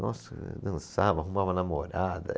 Nossa, dançava, arrumava namorada.